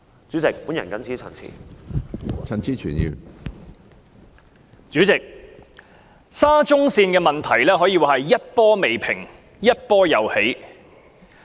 主席，沙田至中環線的問題可以說是一波未平一波又起。